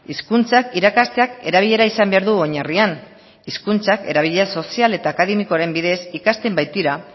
hizkuntza irakasteak erabilera izan behar du oinarrian hizkuntza erabilera sozial eta akademikoaren bidez ikasten baitira